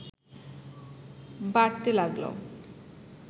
বাড়তে লাগল